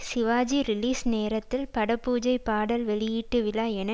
Sivaji release நேரத்தில் பட பூஜை பாடல் வெளியீட்டு விழா என